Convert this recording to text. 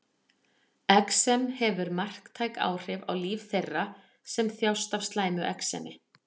Exem hefur marktæk áhrif á daglegt líf þeirra sem þjást af slæmu exemi.